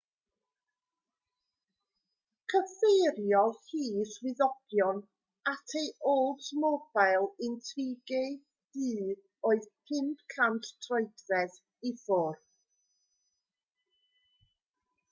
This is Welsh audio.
cyfeiriodd hi swyddogion at ei oldsmobile intrigue du oedd 500 troedfedd i ffwrdd